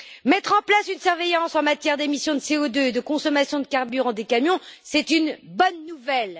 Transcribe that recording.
Mettre en place une surveillance en matière d'émissions de CO2 et de consommation de carburant des camions, c'est une bonne nouvelle.